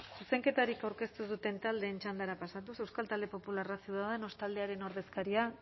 zuzenketarik aurkeztu ez duten taldeen txandara pasatuz euskal talde popularra ciudadanos taldearen ordezkaria